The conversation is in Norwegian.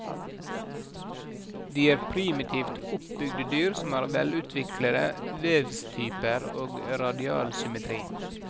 De er primitivt oppbygde dyr som har velutviklete vevstyper og radial symmetri.